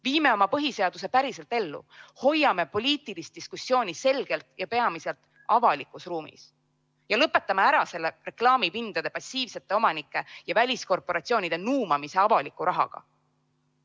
Viime oma põhiseaduse päriselt ellu, hoiame poliitilise diskussiooni selgelt ja peamiselt avalikus ruumis ja lõpetame ära selle reklaamipindade passiivsete omanike ja väliskorporatsioonide nuumamise avaliku rahaga!